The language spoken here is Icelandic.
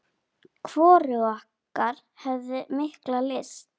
Hvorug okkar hafði mikla lyst.